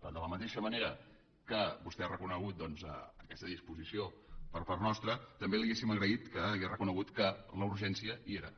per tant de la mateixa manera que vostè ha reconegut doncs aquesta disposició per part nostra també li hauríem agraït que hagués reconegut que la urgència hi era